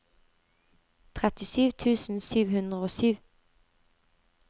trettisju tusen sju hundre og sju